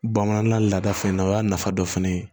Bamanan laada fɛnɛ na o y'a nafa dɔ fɛnɛ ye